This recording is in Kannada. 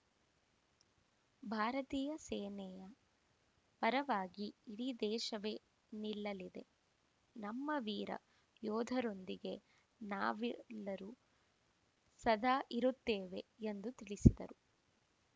ಭಾರತೀಯ ಸೇನೆಯ ಪರವಾಗಿ ಇಡೀ ದೇಶವೇ ನಿಲ್ಲಲಿದೆ ನಮ್ಮ ವೀರ ಯೋಧರೊಂದಿಗೆ ನಾವೆಲ್ಲರೂ ಸದಾ ಇರುತ್ತೇವೆ ಎಂದು ತಿಳಿಸಿದರು